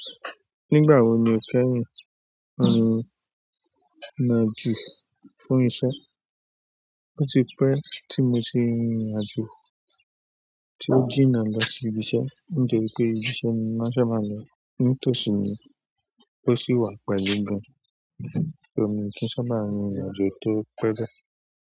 Nígbà wo ni o kẹ́rù n àjo fún iṣẹ́? Ó ti pẹ́ tí mo ti rin ìrìn àjò, tí ó jína lọ sí ibi iṣẹ́. Nítorí pé ibi iṣẹ́ ni wọ́n sábà máa ń lọ. Nítòsí ni ó sì wà pẹ̀lú gan. Emi o kin sábà ń rin ìrìn àjò tó pẹ́ bẹ́ẹ̀.